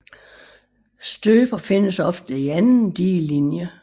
Støper findes ofte i anden digelinje